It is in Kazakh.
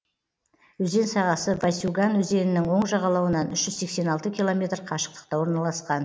өзен сағасы васюган өзенінің оң жағалауынан үш жүз сексен алты километр қашықтықта орналасқан